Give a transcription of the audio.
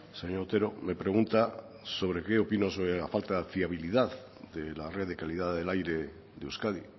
señor otero me pregunta sobre qué opino sobre la falta de fiabilidad de la red de calidad del aire de euskadi